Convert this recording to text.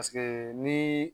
ni